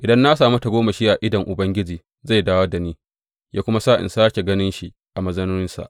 Idan na sami tagomashi a idon Ubangiji, zai dawo da ni, yă kuma sa in sāke gan shi a mazauninsa.